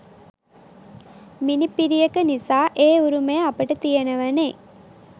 මිණිපිරියක නිසා ඒ උරුමය අපට තියෙනවනෙ.